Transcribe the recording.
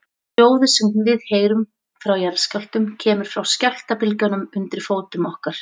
Hljóðið sem við heyrum frá jarðskjálftum kemur frá skjálftabylgjunum undir fótum okkar.